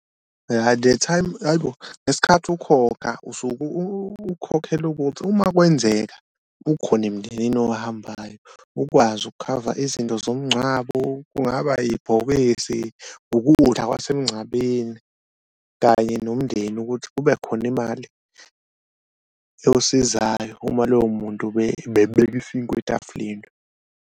The time hhayi bo. Ngesikhathi ukhokha usuke ukhokhela ukuthi uma kwenzeka kukhona emndenini ohambayo ukwazi ukukhava izinto zomngcwabo kungaba yibhokisi, ukudla kwasemncabeni kanye nomndeni ukuthi kube khona imali yosizayo uma loyo muntu ubebeka isinkwa etafuleni.